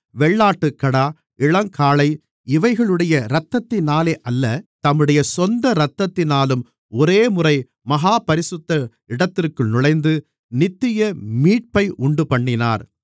வெள்ளாட்டுக்கடா இளங்காளை இவைகளுடைய இரத்தத்தினாலே அல்ல தம்முடைய சொந்த இரத்தத்தினாலும் ஒரேமுறை மகா பரிசுத்த இடத்திற்குள் நுழைந்து நித்திய மீட்பை உண்டுபண்ணினார்